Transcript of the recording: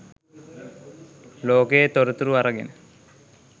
ලෝකයේ තොරතුරු අරගෙන